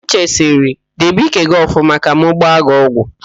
Uche sịrị, debe ike gị ọfụma ka m gba gị ọgwụ!